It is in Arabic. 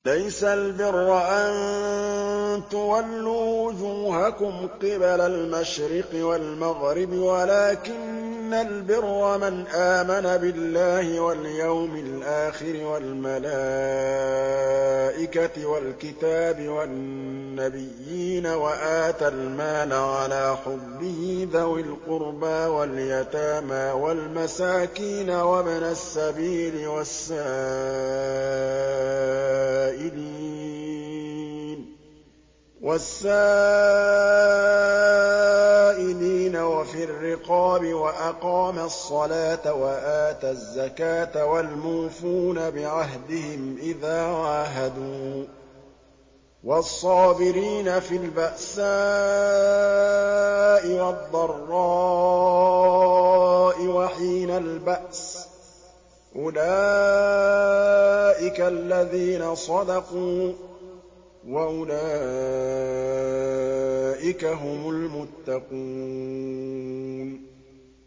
۞ لَّيْسَ الْبِرَّ أَن تُوَلُّوا وُجُوهَكُمْ قِبَلَ الْمَشْرِقِ وَالْمَغْرِبِ وَلَٰكِنَّ الْبِرَّ مَنْ آمَنَ بِاللَّهِ وَالْيَوْمِ الْآخِرِ وَالْمَلَائِكَةِ وَالْكِتَابِ وَالنَّبِيِّينَ وَآتَى الْمَالَ عَلَىٰ حُبِّهِ ذَوِي الْقُرْبَىٰ وَالْيَتَامَىٰ وَالْمَسَاكِينَ وَابْنَ السَّبِيلِ وَالسَّائِلِينَ وَفِي الرِّقَابِ وَأَقَامَ الصَّلَاةَ وَآتَى الزَّكَاةَ وَالْمُوفُونَ بِعَهْدِهِمْ إِذَا عَاهَدُوا ۖ وَالصَّابِرِينَ فِي الْبَأْسَاءِ وَالضَّرَّاءِ وَحِينَ الْبَأْسِ ۗ أُولَٰئِكَ الَّذِينَ صَدَقُوا ۖ وَأُولَٰئِكَ هُمُ الْمُتَّقُونَ